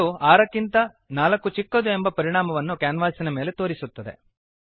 ಮತ್ತು 6 ಕ್ಕಿಂತ 4 ಚಿಕ್ಕದು ಎಂಬ ಪರಿಣಾಮವನ್ನು ಕ್ಯಾನ್ವಾಸಿನ ಮೇಲೆ ತೋರಿಸುತ್ತದೆ